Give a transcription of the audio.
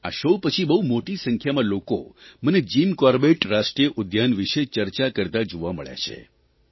આ શો પછી બહુ મોટી સંખ્યામાં લોકો મને જીમ કોર્બેટ રાષ્ટ્રીય ઉદ્યાન વિષે ચર્ચા કરતા જોવા મળ્યા છે